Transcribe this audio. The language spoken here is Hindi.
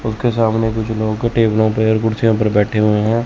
उनके सामने कुछ लोगों को टेबलो पे और कुर्सीयो पर बैठे हुए हैं।